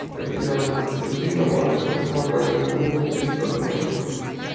копировать как с винды на мак так и с мака на винду без проблем